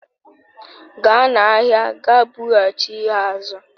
Gaa n'ahịa ga bughachi ya azu